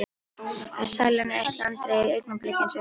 Sælan er eitt langdregið augnablik eins og þjáningin.